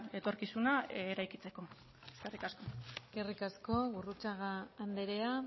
etorkizuna eraikitzeko eskerrik asko eskerrik asko gurrutxaga andrea